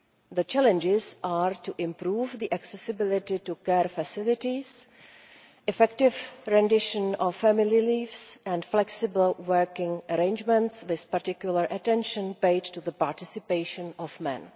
The challenges are to improve the accessibility of care facilities and the effective provision of family leave and flexible working arrangements, paying particular attention to the participation of men.